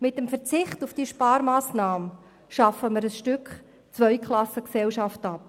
Mit dem Verzicht auf diese Sparmassnahme schaffen wir ein Stück Zweiklassengesellschaft ab.